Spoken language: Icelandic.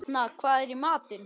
Etna, hvað er í matinn?